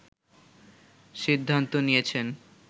সিদ্ধান্ত নিয়েছেন